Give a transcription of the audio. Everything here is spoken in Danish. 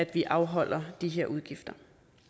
vi afholder de her udgifter